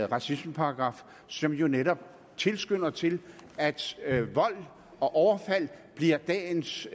racismeparagraf som jo netop tilskynder til at vold og overfald bliver dagens